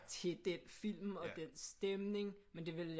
Til den film og den stemning men det ville jeg